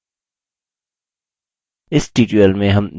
इस tutorial में हम निम्न सीखेंगे: